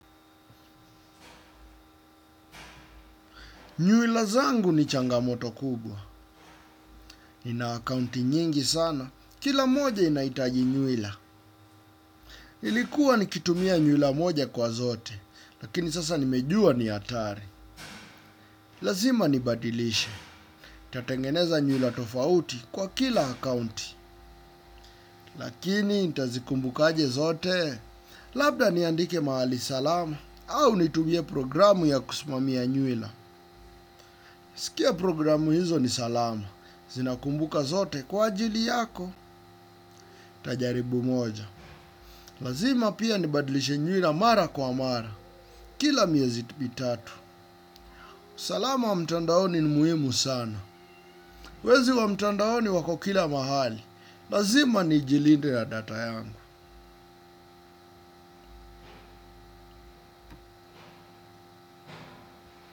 Nywila zangu ni changamoto kubwa. Ni na akaunti nyingi sana. Kila moja inaitaji nywila. Ilikuwa ni kitumia nywila moja kwa zote. Lakini sasa nimejua ni hatari. Lazima nibadilishe. Tatengeneza nywila tofauti kwa kila akaunti. Lakini, nitazikumbuka aje zote. Labda niandike mahali salama. Au nitumie programu ya kusumamia nywila. Sikia programu hizo ni salama. Zina kumbuka zote kwa ajili yako, tajaribu moja. Lazima pia ni badilishe nywila mara kwa mara, kila miezi mitatu. Salama mtandaoni ni muhimu sana. Wezi wa mtandaoni wako kila mahali, lazima ni jilinde na data yangu.